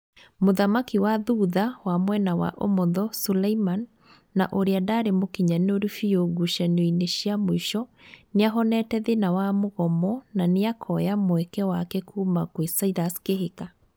Mũthaki wa thutha wa mwena wa ũmotho, Suleiman, na ũrĩa ndarĩ mũkinyanĩru biũ ngucanio-ĩnĩ cia mũico nĩahonete thĩna wa mũgomo na nĩakoya mweke wake kuma gwĩ Silas Kihika